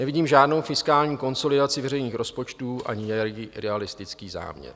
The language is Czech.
Nevidím žádnou fiskální konsolidaci veřejných rozpočtů ani idealistický záměr.